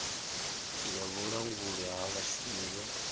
ya vhulanguli ha vhashumi yo